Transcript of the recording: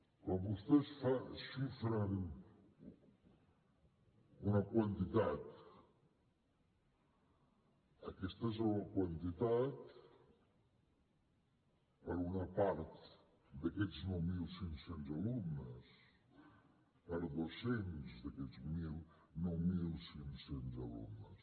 quan vostès xifren una quantitat aquesta és la quantitat per a una part d’aquests nou mil cinc cents alumnes per a dos cents d’aquests nou mil cinc cents alumnes